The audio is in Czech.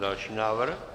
Další návrh.